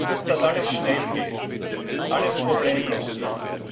Sie wollen, dass alles schnell geht, alles problemlos geht.